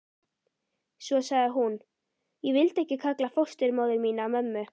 Svo sagði hún: Ég vildi ekki kalla fósturmóður mína mömmu.